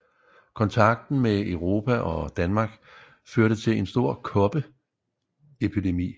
Kontakten med Europa og Danmark førte til en stor kopperepidemi